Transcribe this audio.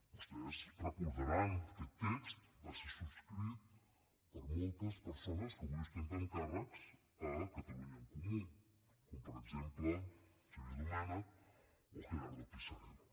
vostès ho deuen recordar aquest text va ser subscrit per moltes persones que avui ostenten càrrecs a catalunya en comú com per exemple en xavier domènech o gerardo pisarello